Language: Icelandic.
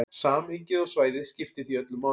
Samhengið og svæðið skiptir því öllu máli.